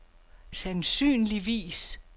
sandsynligvis